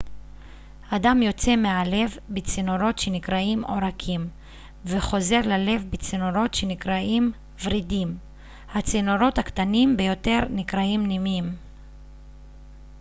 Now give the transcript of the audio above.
הדם יוצא מהלב בצינורות שנקראים עורקים וחוזר ללב בצינורות שנקראים ורידים הצינורות הקטנים ביותר נקראים נימים